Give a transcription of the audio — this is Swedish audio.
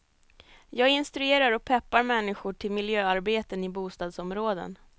Jag instruerar och peppar människor till miljöarbeten i bostadsområden.